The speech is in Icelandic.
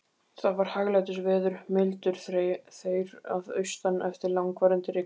Það var hæglætisveður, mildur þeyr að austan eftir langvarandi rigningar.